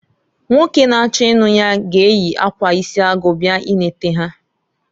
Nwoke na- achọ ịnụ ya g'eyi akwa isi agụ bịa ineta ha.